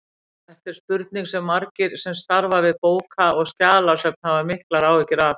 Þetta er spurning sem margir sem starfa við bóka- og skjalasöfn hafa miklar áhyggjur af.